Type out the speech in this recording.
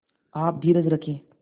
आप धीरज रखें